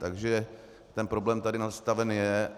Takže ten problém tady nastaven je.